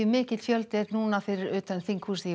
mikill fjöldi er fyrir utan þinghúsið